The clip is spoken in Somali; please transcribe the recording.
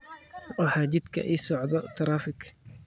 waxaa jidka ii socda taraafig